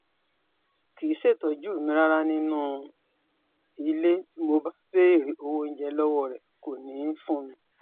kì í ṣètọ́jú mi rárá nínú ilé bí mo bá béèrè owó oúnjẹ lọ́wọ́ rẹ̀ kò ní í fún mi